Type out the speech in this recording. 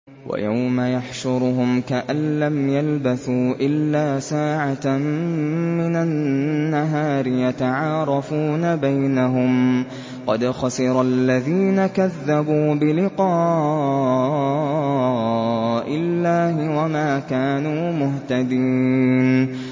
وَيَوْمَ يَحْشُرُهُمْ كَأَن لَّمْ يَلْبَثُوا إِلَّا سَاعَةً مِّنَ النَّهَارِ يَتَعَارَفُونَ بَيْنَهُمْ ۚ قَدْ خَسِرَ الَّذِينَ كَذَّبُوا بِلِقَاءِ اللَّهِ وَمَا كَانُوا مُهْتَدِينَ